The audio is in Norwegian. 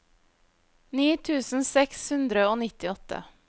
ni tusen seks hundre og nittiåtte